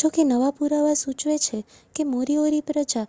જોકે નવા પુરાવા સૂચવે છે કે મોરીઓરી પ્રજા